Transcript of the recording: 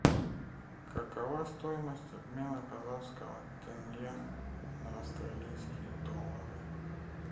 какова стоимость обмена казахского тенге на австралийские доллары